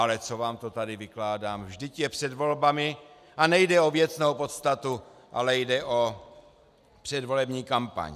Ale co vám to tady vykládám, vždyť je před volbami a nejde o věcnou podstatu, ale jde o předvolební kampaň.